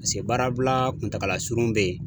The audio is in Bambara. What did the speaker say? Paseke baarabila kuntagala surun bɛ yen.